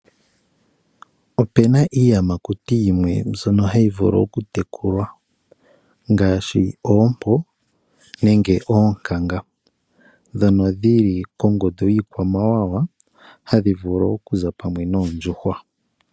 Opena iiyamakuti yimwe mbyono hayi vulu okutekulwa ngaashi oompo nenge oonkanga ndhono yili kongundu yiikwamawawa hadhi vulu okuza pamwe noondjuhwa.